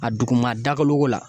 A duguma dakoloko la